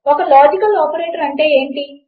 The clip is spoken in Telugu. ఒక లాజికల్ ఆపరేటర్ అంటే ఏమిటి